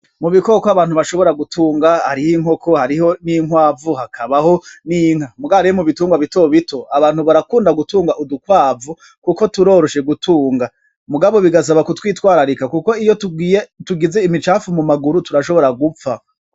Mu bikoko abantu bashobora gutunga hariho inkoko, hariho n'inkwavu, hakabaho n'inka, muga rero mu bitungwa bitobito abantu barakunda gutunga udukwavu kuko turoroshe gutunga mugabo bigasaba kutwitwararika kuko iyo tugize imicafu mumaguru turashobora gupfa.